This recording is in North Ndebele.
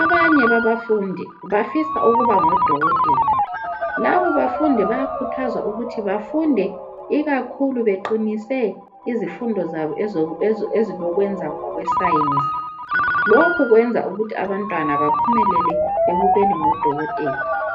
abanye babafundi bafisa ukuba ngodokotela. Labo bafundi bayakhuthazwa ukuthi bafunde ikakhulu beqinise izifundo zabo ezok ezi ezilokwenza ngokwesayensi. Lokhu kwenza kwenza ukuthi abantwana baphumelele ekubeni ngodokotela.